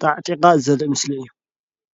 ተዓጢቓ ዘርኢ ምስሊ እዩ።